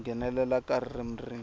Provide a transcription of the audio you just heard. ku nghenelela ka ririmi rin